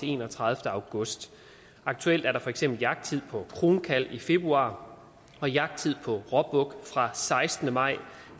enogtredivete august aktuelt er der for eksempel jagttid på kronkalv i februar og jagttid på råbuk fra sekstende maj